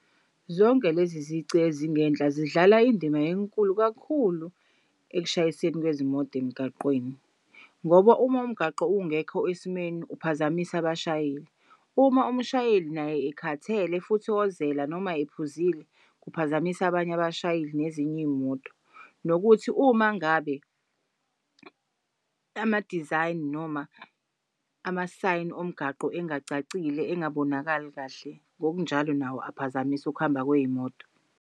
Zonke lezi zici ezingenhla zidlala indima enkulu kakhulu akushayiseni kwezimoto emgaqweni, ngoba uma umgaqo ungekho esimeni uphazamise abashayeli. Uma umshayeli naye ekhathele futhi ozela noma ephuzile kuphazamis'abanye abashayeli nezinye iy'moto. Nokuthi uma ngabe ama-design noma ama-sign omgaqo engacacile engabonakali kahle ngokunjalo nawo aphazamis' ukuhamba kwey'moto.